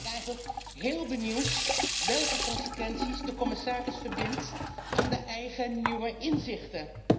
Daarom ben ik eigenlijk heel benieuwd welke consequenties de commissaris trekt uit de eigen, nieuwe inzichten.